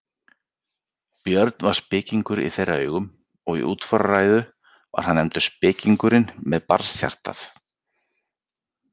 Björn var spekingur í þeirra augum og í útfararræðu var hann nefndur spekingurinn með barnshjartað.